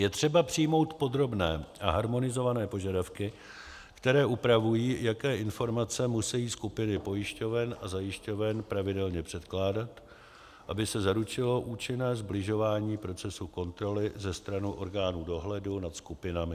Je třeba přijmout podrobné a harmonizované požadavky, které upravují, jaké informace musejí skupiny pojišťoven a zajišťoven pravidelně předkládat, aby se zaručilo účinné sbližování procesu kontroly ze strany orgánů dohledu nad skupinami.